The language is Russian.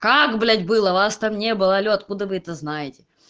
как блять было вас там не было алло откуда вы это знаете